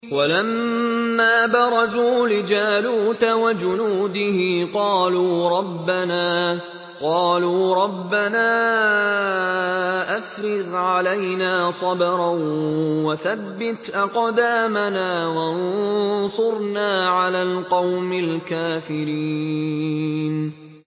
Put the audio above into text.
وَلَمَّا بَرَزُوا لِجَالُوتَ وَجُنُودِهِ قَالُوا رَبَّنَا أَفْرِغْ عَلَيْنَا صَبْرًا وَثَبِّتْ أَقْدَامَنَا وَانصُرْنَا عَلَى الْقَوْمِ الْكَافِرِينَ